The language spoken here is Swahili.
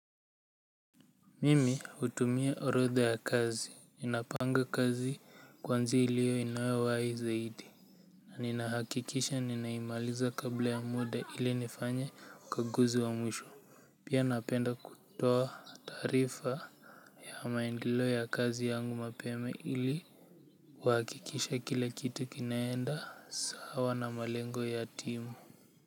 Mimi hutumia orodha ya kazi ninapanga kazi kwanza ile inayowahi zaidi na ninahakikisha ninaimaliza kabla ya muda ili nifanye ukaguzi wa mwisho pia napenda kutoa taarifa ya maendeleo ya kazi yangu mapema ili kuhakikisha kila kitu kinaenda sawa na malengo ya timu.